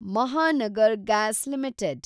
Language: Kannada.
Mahanagara gas limited